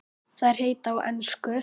Þær heita á ensku